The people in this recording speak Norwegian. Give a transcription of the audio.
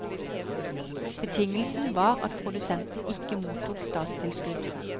Betingelsen var at produsenten ikke mottok statstilskudd.